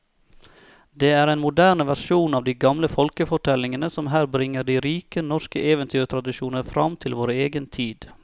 Det er en moderne versjon av de gamle folkefortellingene som her bringer de rike norske eventyrtradisjoner fram til vår egen tid.